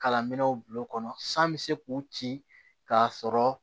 Kalan minɛnw bulon kɔnɔ san bɛ se k'u ci k'a sɔrɔ